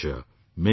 Many thanks